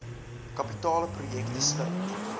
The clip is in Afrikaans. kapitale projekte sluit